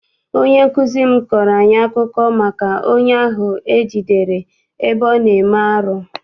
Onye nkụzi m kọọrọ anyị akụkọ maka onye ahụ e jidere ebe ọ na-eme arụ.